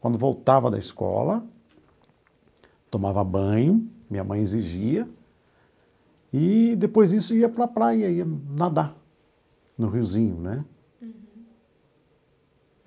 Quando voltava da escola, tomava banho, minha mãe exigia, e depois disso ia para a praia, ia nadar no riozinho, né? Uhum.